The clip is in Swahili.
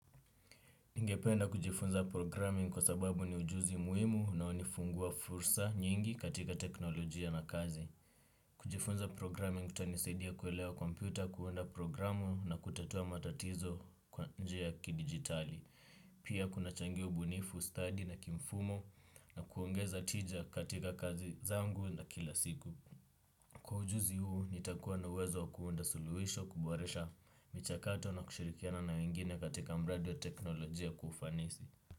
Ningependa kujifunza programming kwa sababu ni ujuzi muimu unao nifungua fursa nyingi katika teknolojia na kazi. Kujifunza programming kutanisaidia kuelewa kompyuta, kuunda programu na kutatua matatizo kwa njia ya kidigitali. Pia kuna changia ubunifu, study na kimfumo na kuongeza tija katika kazi zangu na kila siku. Kwa ujuzi huu nitakuwa na uwezo wa kuunda suluhisho kuboresha mchakato na kushirikiana na wengine katika mradi ya teknolojia kufanisi.